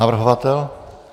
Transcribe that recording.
Navrhovatel?